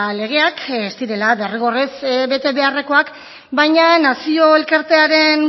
legeak ez direla derrigorrez bete beharrekoak baina nazio elkartearen